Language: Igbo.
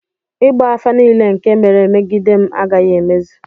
ịgba afa nile nke mere megidem agaghi-emezu